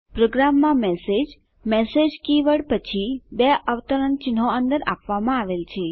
પ્રોગ્રામમાં message message keyword પછી બે અવતરણચિહ્નો અંદર આપવામાં આવેલ છે